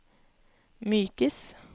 mykes